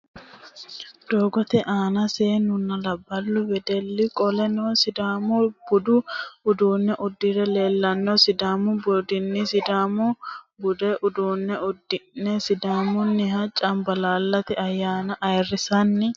Doogotte aanna seenunna laballu weeddeli qolonna sidaamu budu uduune udire leellanno, sidaamu budini sidaamu budu uduune udi'ne sidaamuniha camballallate ayanna ayiirinsanni